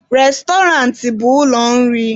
Restọrantị bụ ụlọ nri.